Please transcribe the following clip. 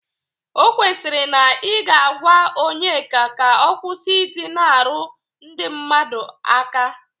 O kwesiri na ị ga-agwa Onyeka ka ọ kwụsị ị dị na-arụ ndị mmadụ aka.